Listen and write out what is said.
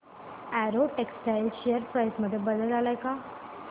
Arrow textiles share price मध्ये बदल आलाय का